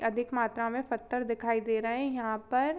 अधिक मात्रा में पत्थर दिखाई दे रहे है यहाँ पर।